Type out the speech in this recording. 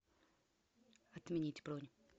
отменить бронь